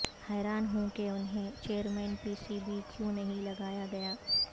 حیران ہوں کہ انہیں چیئرمین پی سی بی کیوں نہیں لگایا گیا